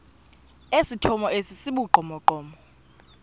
esithomo esi sibugqomogqomo